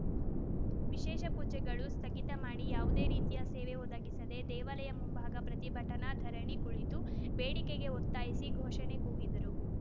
ವಿಶೇಷ ಪೂಜೆಗಳು ಸ್ಥಗಿತ ಮಾಡಿ ಯಾವುದೇ ರೀತಿಯ ಸೇವೆ ಒದಗಿಸದೆ ದೇವಾಲಯ ಮುಂಭಾಗ ಪ್ರತಿಭಟನಾ ಧರಣಿ ಕುಳಿತು ಬೇಡಿಕೆಗೆ ಒತ್ತಾಯಿಸಿ ಘೋಷಣೆ ಕೂಗಿದರು